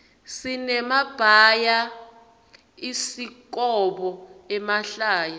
sinemabhayaisikhobo emahlaya